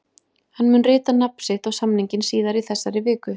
Hann mun rita nafn sitt á samninginn síðar í þessari viku.